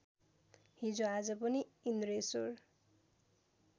हिजोआज पनि इन्द्रेश्वर